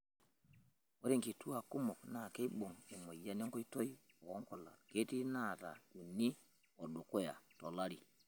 Ore nkituak kumok naa keibung' emoyian enkoitoi oonkulak .ketii naata uni o dukuya tolari.